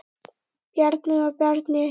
Bjarni og Bjarni